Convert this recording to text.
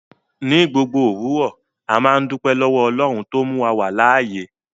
Ní gbogbo owurọ̀, àmà n dúpẹ̀ lọ́wọ̀ Ọlọ́run tó múwa wà láàyè.